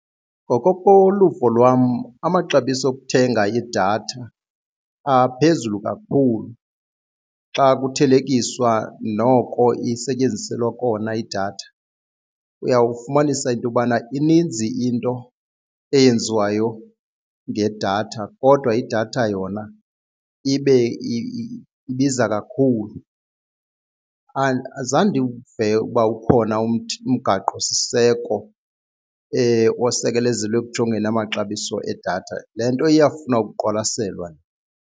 Ngokokoluvo lwam amaxabiso okuthenga idatha aphezulu kakhulu xa kuthelekiswa noko isetyenziselwa kona idatha, uyawufumanisa intobana ininzi into eyenziwayo ngedatha kodwa idatha yona ibe ibiza kakhulu. Azange ndiwuve ukuba ukhona umgaqosiseko osekelezelwe ekujongeni amaxabiso edatha le nto iyafuna ukuqwalaselwa.